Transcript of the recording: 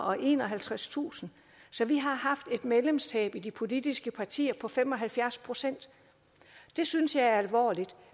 og enoghalvtredstusind så vi har haft et medlemstab i de politiske partier på fem og halvfjerds procent det synes jeg er alvorligt